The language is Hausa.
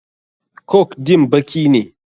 Coke din baki ne.